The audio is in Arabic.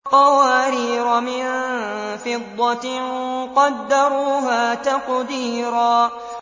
قَوَارِيرَ مِن فِضَّةٍ قَدَّرُوهَا تَقْدِيرًا